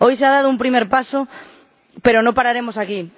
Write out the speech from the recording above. Hoy se ha dado un primer paso, pero no pararemos aquí.